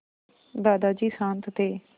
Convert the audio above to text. दादाजी शान्त थे